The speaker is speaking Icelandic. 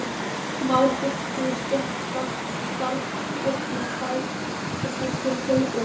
mál,-fulltrúi,-stétt starfsstétt sem fæst við heilbrigðismál